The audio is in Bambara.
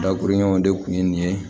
Dakurun ɲɛw de kun ye nin ye